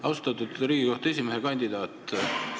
Austatud Riigikohtu esimehe kandidaat!